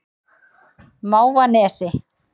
Mávanesi